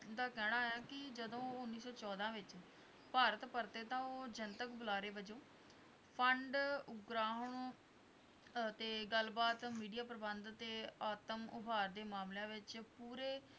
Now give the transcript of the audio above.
ਦਾ ਕਹਿਣਾ ਹੈ ਕਿ ਜਦੋਂ ਉਨੀ ਸੌ ਚੋਦਾਂ ਵਿੱਚ ਭਾਰਤ ਭਰਤੇ ਤਾਂ ਉਹ ਜਨਤਕ ਦੁਲਾਰੇ ਵਜੋਂ, ਪੰਡ, ਉਬਰਾਉਣੋ ਅਤੇ ਗੱਲ - ਬਾਤ media ਪ੍ਰਬੰਧ ਤੇ ਆਤਮ ਉਭਾਰ ਦੇ ਮਾਮਲਿਆਂ ਵਿੱਚ ਪੁਰੇ